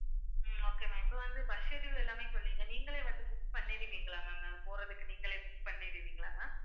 உம் okay ma'am இப்ப வந்து bus schedule எல்லாமே சொன்னீங்க, நீங்களே வந்து book பண்ணிடுவீங்களா ma'am நாங்க போறதுக்கு நீங்களே book பண்ணிடுவீங்களா ma'am